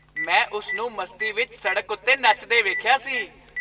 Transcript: ਮੈਂ ਉਸ ਨੂੰ ਮਸਤੀ ਵਿੱਚ ਸੜਕ ਉੱਤੇ ਨੱਚਦੇ ਵੇਖਿਆ ਸੀ।